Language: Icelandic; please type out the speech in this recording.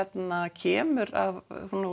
kemur af